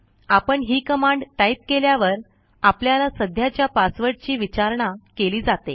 आपण ही command type केल्यावर आपल्याला सध्याच्या पासवर्डची विचारणा केली जाते